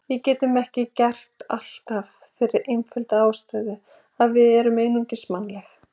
Við getum ekki gert allt af þeirri einföldu ástæðu að við erum einungis mannleg.